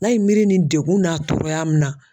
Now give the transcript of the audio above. N'a ye miiri ni degun n'a tɔɔrɔya min na